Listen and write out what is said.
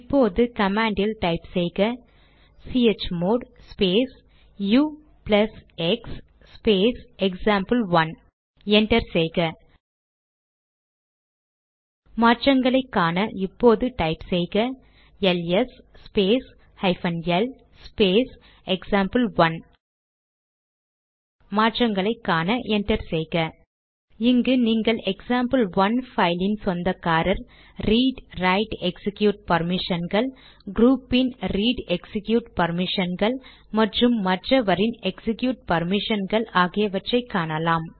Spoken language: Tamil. இப்போது கமாண்ட் டைப் செய்க chmod space ux space example one enter செய்க மாற்றங்களை காண இப்போது டைப் செய்க LS space hyphen L space example one மாற்றங்களை காண என்டர் செய்க இங்கு நீங்கள் எக்சாம்பிள்1 பைலின் சொந்தக்காரரின் ரீட்ரைட்எக்சிக்யூட் பர்மிஷன்கள் க்ரூபின் ரீட் எக்சிக்யூட் பர்மிஷன்கள் மற்றும் மற்றவரின் எக்சிக்யூட் பர்மிஷன்கள் ஆகியவற்றை காணலாம்